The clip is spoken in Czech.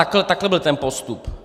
Ale takhle byl ten postup.